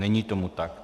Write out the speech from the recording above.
Není tomu tak.